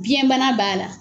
Biyɛn bana b'a la